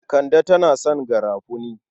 Kande tana son garafuni.